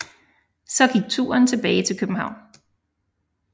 Så gik turen tilbage til København